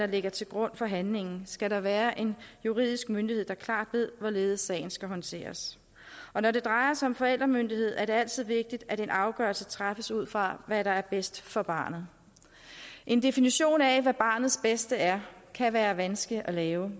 ligger til grund for handlingen er skal der være en juridisk myndighed der klart ved hvorledes sagen skal håndteres og når det drejer sig om forældremyndighed er det altid vigtigt at en afgørelse træffes ud fra hvad der er bedst for barnet en definition af hvad barnets bedste er kan være vanskelig at lave